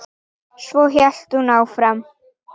Svo hélt hún áfram: